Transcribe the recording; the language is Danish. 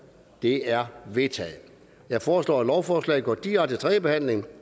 det er vedtaget jeg foreslår at lovforslaget går direkte til tredje behandling